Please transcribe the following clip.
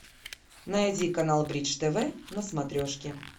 найди канал бридж тв на смотрешке